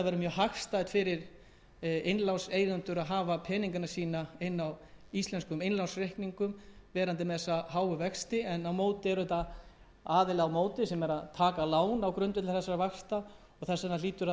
innlánseigendur að hafa peningana sína á íslenskum innlánsreikningum sem bera þessa háu vexti en svo er aðili á móti sem tekur lán á grundvelli þessara vaxta og þess vegna hlýtur að vera markmið allra